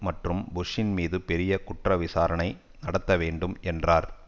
மற்றும் புஷ்ஷின் மீது பெரிய குற்ற விசாரணை நடத்த வேண்டும் என்றார்